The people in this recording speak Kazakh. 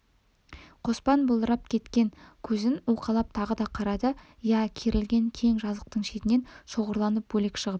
қоспан бұлдырап кеткен көзін уқалап тағы да қарады иә керілген кең жазықтың шетінен шоғырланып бөлек шығып